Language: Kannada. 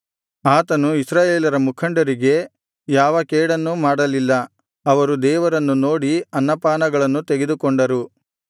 ಆತನು ಇಸ್ರಾಯೇಲರ ಮುಖಂಡರಿಗೆ ಯಾವ ಕೇಡನ್ನೂ ಮಾಡಲಿಲ್ಲ ಅವರು ದೇವರನ್ನು ನೋಡಿ ಅನ್ನಪಾನಗಳನ್ನು ತೆಗೆದುಕೊಂಡರು